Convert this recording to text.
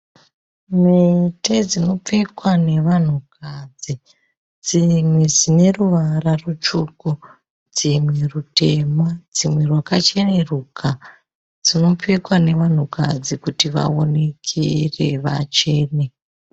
Mhete dzinopfekwa nevanhukadzi. Dzimwe dzine ruvara rutsvuku dzimwe rutema dzimwe rwakacheneruka. Dzinopfekwa nevanhukadzi kuti vaonekere vachene.